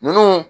Nun